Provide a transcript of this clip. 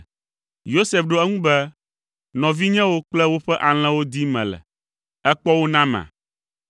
Yosef ɖo eŋu be, “Nɔvinyewo kple woƒe alẽwo dim mele; èkpɔ wo nama?”